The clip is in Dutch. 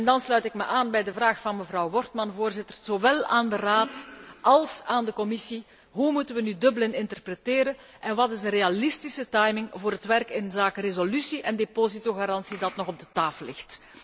Dan sluit ik mij aan bij de vraag van mevrouw Wortmann, Voorzitter, zowel aan de Raad als aan de Commissie hoe moeten wij nu Dublin interpreteren en wat is de realistische timing voor het werk inzake resolutie en depositogarantie dat nog ter tafel ligt?